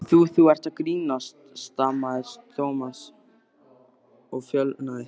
Þú- þú ert að grínast stamaði Thomas og fölnaði.